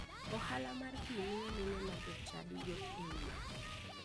Ohala mar pii miyo mine ma jochadi yot e udi.